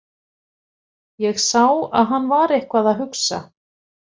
Ég sá að hann var eitthvað að hugsa.